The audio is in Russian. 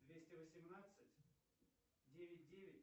двести восемнадцать девять девять